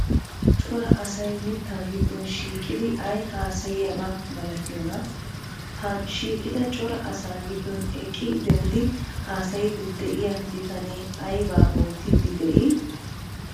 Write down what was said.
Cora asay mittaa giddon shiiqidi ay haasayiyaba malatiyonaa? Ha shiiqida cora asaa giddon eqqi denddidi haasayiiddi de'iya bitanee aybaa oottiiddi de'ii?